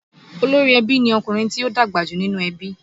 Olórí ẹbí ni ọkùnrin tí ó dàgbà jù nínú ẹbí